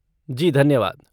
जी, धन्यवाद।